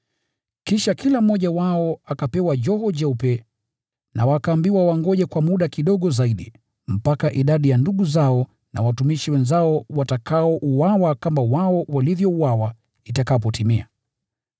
Kisha kila mmoja wao akapewa joho jeupe na wakaambiwa wangoje kwa muda kidogo zaidi, mpaka idadi ya ndugu zao na watumishi wenzao watakaouawa kama wao walivyouawa, itakapotimia.